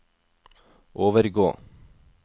overgå